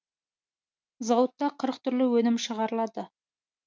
зауытта қырық түрлі өнім шығарылады